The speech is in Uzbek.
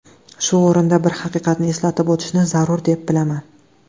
Shu o‘rinda bir haqiqatni eslatib o‘tishni zarur, deb bilaman.